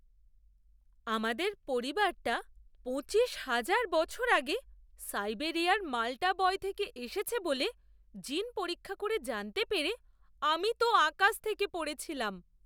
আমাদের পরিবারটা পঁচিশ হাজার বছর আগে সাইবেরিয়ার মাল্টা বয় থেকে এসেছে বলে জিন পরীক্ষা করে জানতে পেরে আমি তো আকাশ থেকে পড়েছিলাম!